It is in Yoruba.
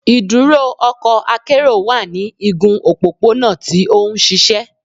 “Iduro ọkọ akero wa ni igun opopona ti o nšišẹ. "